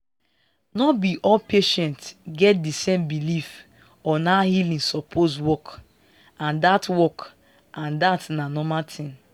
no be all patients get di same belief on how healing suppose work and dat work and dat na normal thing